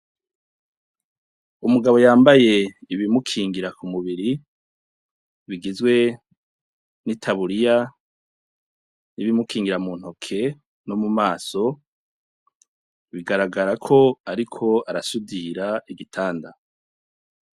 Umugabo yambaye ibimukingira ku mubiri bigizwe n' itaburiya n' ibimukingingira mu ntoke no mu maso bigaragara ko ariko arasudira igitanda.